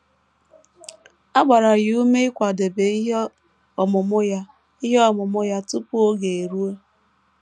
A gbara ya ume ịkwadebe ihe ọmụmụ ya ihe ọmụmụ ya tupu oge eruo.